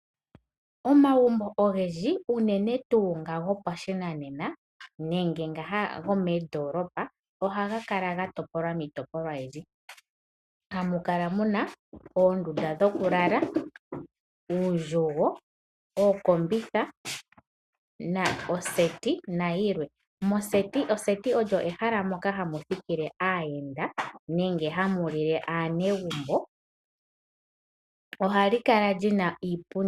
Omagumbo ogendji unene tuu nga go pashinanena nenge nga gomoondoolopa, ohaga kala ga topolwa miitopolwa oyindji. Hamu kala muna oonndunda dho kulala, uundjugo, ookombitha noseti na yilwe. Moseti, oseti olyo ehala moka hamu thikile aayenda nenge hamu lile aanegumbo. Ohali kala lyina iipundi.